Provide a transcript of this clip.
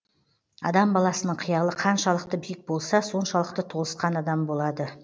адам баласының қиялы қаншалықты биік болса соншалықты толысқан адам болады